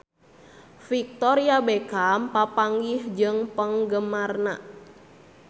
Victoria Beckham papanggih jeung penggemarna